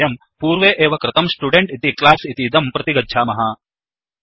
समीचीनम् अधुना वयं पूर्वे एव कृतंStudent इति क्लास् इतीदं प्रतिगच्छामः